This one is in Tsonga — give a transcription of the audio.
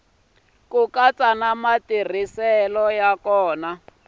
ku katsa na matirhiselo ya